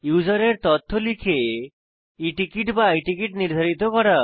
ইউসারের তথ্য লিখে e টিকেট বা i টিকেট নির্ধারিত করা